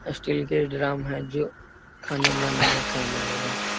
Steel के drum हैं जो खाने बनाने में काम आएगा।